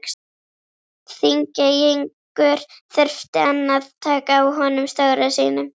Þingeyingur þurfti enn að taka á honum stóra sínum.